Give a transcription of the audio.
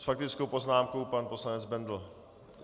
S faktickou poznámkou pan poslanec Bendl.